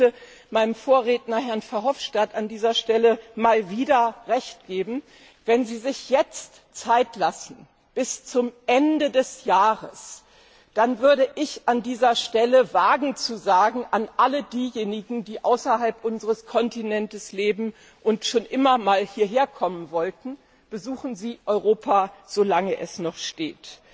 Ich möchte meinem Vorredner, Herrn Verhofstadt, an dieser Stelle mal wieder Recht geben Wenn Sie sich jetzt Zeit lassen bis zum Ende des Jahres, dann würde ich an dieser Stelle wagen, allen denjenigen, die außerhalb unseres Kontinents leben und schon immer mal hierher kommen wollten, zu sagen Besuchen Sie Europa, solange es noch steht!